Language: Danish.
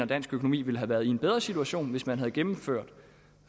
dansk økonomi ville have været i en bedre situation hvis man havde gennemført